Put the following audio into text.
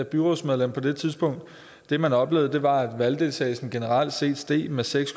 byrådsmedlem på det tidspunkt og det man oplevede var at valgdeltagelsen generelt set steg med seks